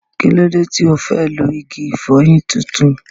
Kí ló dé tí ò fẹ́ lo igi ìfọyín tuntun?